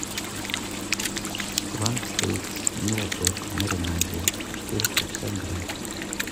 фланк стейк мираторг в маринаде четыреста пятьдесят грамм